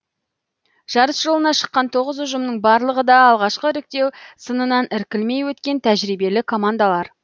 жарыс жолына шыққан тоғыз ұжымның барлығы да алғашқы іріктеу сынынан іркілмей өткен тәжірибелі командалар